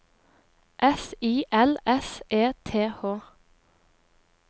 S I L S E T H